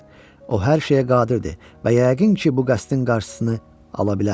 O hər şeyə qadirdir və yəqin ki, bu qəsdin qarşısını ala bilər.